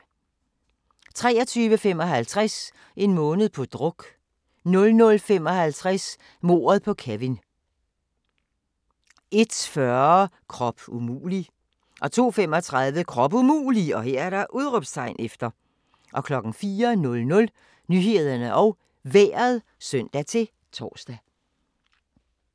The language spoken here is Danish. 23:55: En måned på druk 00:55: Mordet på Kevin 01:40: Krop umulig 02:35: Krop umulig! 04:00: Nyhederne og Vejret (søn-tor)